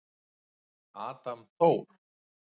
Adam Þór.